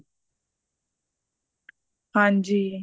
ਹਾਂਜੀ